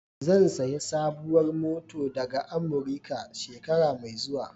Zan sayi sabuwar mota daga Amurika, shekara mai zuwa.